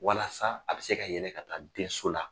Walasa a bɛ se ka yɛlɛ ka taa denso la.